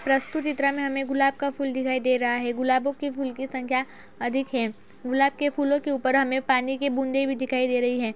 प्रस्तुत चित्र में हमें गुलाब का फूल दिखाई दे रहा है गुलाबो के फूल की संख्या अधिक है गुलाब के फूलों के ऊपर हमें पानी के बूंदे भी दिखाई दे रही हैं।